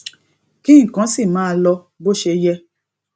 kí nǹkan sì máa lọ bó ṣe yẹ